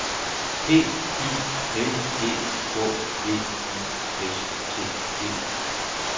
P I L E K V I S T E